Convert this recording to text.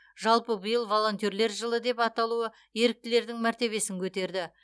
жалпы биыл волонтерлер жылы деп аталуы еріктілердің мәртебесін көтерді